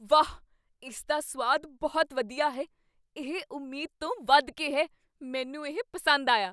ਵਾਹ! ਇਸਦਾ ਸੁਆਦ ਬਹੁਤ ਵਧੀਆ ਹੈ, ਇਹ ਉਮੀਦ ਤੋਂ ਵਧ ਕੇ ਹੈ। ਮੈਨੂੰ ਇਹ ਪਸੰਦ ਆਇਆ।